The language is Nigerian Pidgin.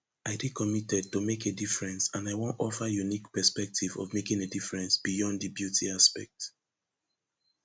i dey committed to make a difference and i wan offer unique perspective of making a difference beyond di beauty aspect